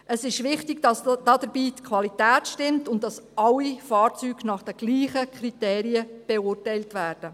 Es ist wichtig, dass dabei die Qualität stimmt und dass alle Fahrzeuge nach den gleichen Kriterien beurteilt werden.